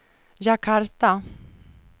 Jakarta